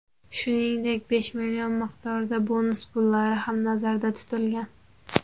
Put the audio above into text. Shuningdek, besh million miqdorida bonus pullari ham nazarda tutilgan.